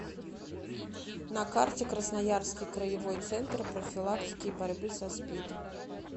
на карте красноярский краевой центр профилактики и борьбы со спид